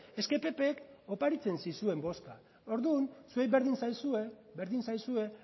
es que ppk oparitzen zizuen boska ordun zuei berdin zaizue berdin zaizue